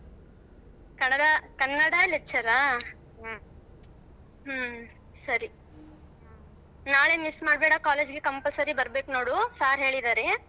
Kannada~ Kannada lecture ಆ? ಹ್ಮ ಸರಿ ನಾಳೆ ಮಿಸ್ ಮಾಡಬೇಡ college ಗೆ compulsory ಬರ್ಬೇಕು ನೋಡು sir ಹೇಳಿದಾರೆ.